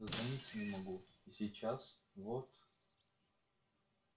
дозвониться не могу и сейчас вот